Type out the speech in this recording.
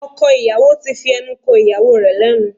Ọkọ ìyàwó ti fi ẹnu ko ìyàwó rẹ̀ lẹ́nu